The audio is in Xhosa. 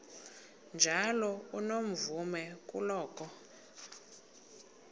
njalo unomvume kuloko